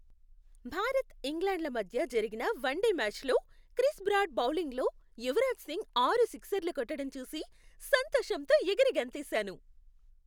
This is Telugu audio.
భారత్, ఇంగ్లాండ్ మధ్య జరిగిన వన్డే మ్యాచ్లో క్రిస్ బ్రాడ్ బౌలింగ్లో యువరాజ్ సింగ్ ఆరు సిక్సర్లు కొట్టడం చూసి సంతోషంతో ఎగిరి గంతేసాను.